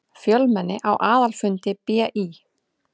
Fjölmenni á aðalfundi BÍ